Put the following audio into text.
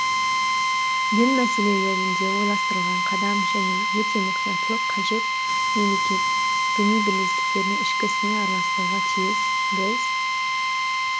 дін мәселелерінде ойластырылған қадам және өте мұқияттылық қажет мемлекет діни бірлестіктердің ішкі ісіне араласпауға тиіс біз